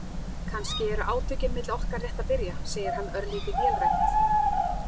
Kannski eru átökin milli okkar rétt að byrja, segir hann örlítið vélrænt.